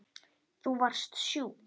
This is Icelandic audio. Þú varst sjúk.